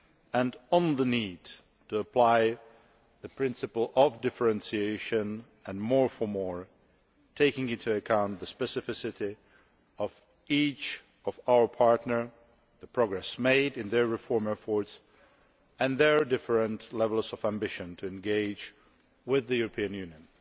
and the need to apply the principle of differentiation and more for more', taking into account the specificity of each of our partners, the progress made in their reform efforts and their different levels of ambition to engage with the European Union.